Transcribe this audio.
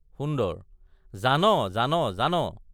সুন্দৰ— জান জান জান!